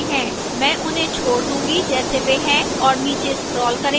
मैं उन्हें छोड़ दूंगी जैसे वे हैं और नीचे scroll करेंगे